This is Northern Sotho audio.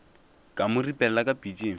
ka mo ripelela ka pitšeng